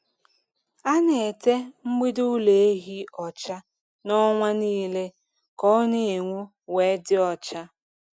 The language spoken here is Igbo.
A na-ete mgbidi ụlọ ehi ọcha na ọnwa nile ka o na-enwu we dị ọcha.